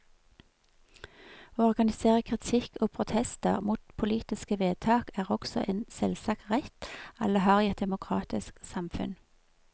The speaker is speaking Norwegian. Å organisere kritikk og protester mot politiske vedtak er også en selvsagt rett alle har i et demokratisk samfunn.